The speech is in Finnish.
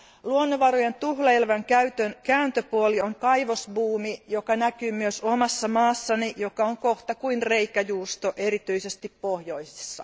Luonnonvarojen tuhlailevan käytön kääntöpuoli on kaivosbuumi, joka näkyy myös omassa maassani, joka on kohta kuin reikäjuusto, erityisesti pohjoisessa.